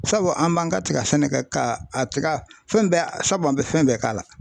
Sabu an b'an ka tiga sɛnɛkɛ ka a tiga fɛn bɛɛ sabu an bɛ fɛn bɛɛ k'a la.